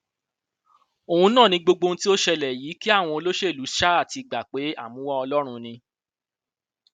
òun náà ni gbogbo ohun tó ṣẹlẹ yìí kí àwọn olóṣèlú ṣáà ti gbà pé àmúwá ọlọrun ni